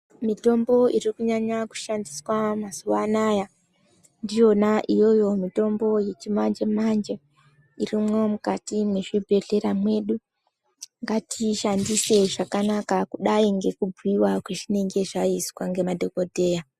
Mitombo iri kunyanya kushandiswa mazuwa anaya ndiyona iyoyo mitombo yechimanje manje irimwo mukati mwe zvibhedhlera mwedu ngatiishandise zvakanaka kudai ngekubhuyiwa kwezvinenge zvaizwa ngemadhokodheya.